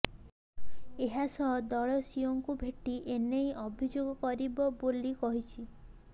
ଏହାସହ ଦଳ ସିଇଓଙ୍କୁ ଭେଟି ଏ ନେଇ ଅଭିଯୋଗ କରିବ ବୋଲି କହିଛି